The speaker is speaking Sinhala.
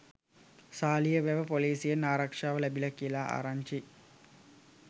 සාලියවැව පොලීසියෙන් ආරක්ෂාව ලැබිලා කියලා ආරංචියි.